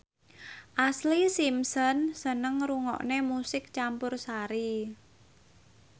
Ashlee Simpson seneng ngrungokne musik campursari